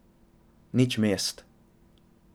Nič mest.